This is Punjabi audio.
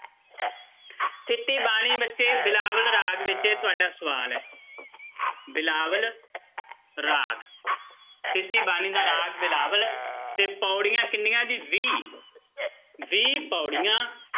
ਥਿੱਤੀ ਬਾਣੀ ਬੱਚੇ ਬਿਲਾਵਲ ਰਾਗ ਵਿੱਚ ਹੈ ਤੁਹਾਡਾ ਸਵਾਲ ਹੈ ਬਿਲਾਵਲ ਰਾਗ ਥਿੱਤੀ ਬਾਣੀ ਦਾ ਰਾਗ ਬਿਲਾਵਲ ਤੇ ਪਾਉੜੀਆਂ ਕਿੰਨੀਆਂ ਜੀ ਵੀਹ ਵੀਹ ਪਾਉੜੀਆਂ,